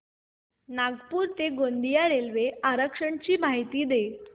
नागपूर ते गोंदिया रेल्वे आरक्षण ची माहिती दे